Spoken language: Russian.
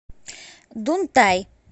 дунтай